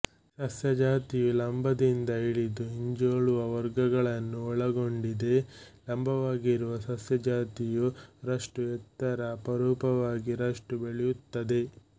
ಸಸ್ಯ ಜಾತಿಯು ಲಂಬದಿಂದ ಹಿಡಿದು ಹಿಂಜೋಲುವ ವರ್ಗಗಳನ್ನು ಒಳಗೊಂಡಿದೆ ಲಂಬವಾಗಿರುವ ಸಸ್ಯ ಜಾತಿಯು ರಷ್ಟು ಎತ್ತರ ಅಪರೂಪವಾಗಿ ರಷ್ಟು ಬೆಳೆಯುತ್ತದೆ